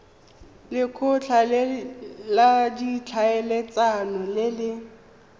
lekgotla la ditlhaeletsano le le